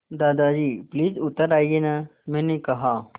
दादाजी प्लीज़ उतर आइये न मैंने कहा